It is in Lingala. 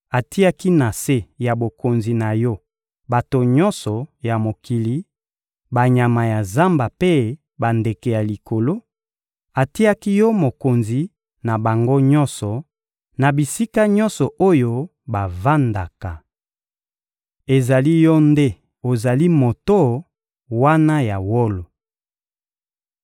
atiaki na se ya bokonzi na yo bato nyonso ya mokili, banyama ya zamba mpe bandeke ya likolo; atiaki yo mokonzi na bango nyonso, na bisika nyonso oyo bavandaka! Ezali yo nde ozali moto wana ya wolo.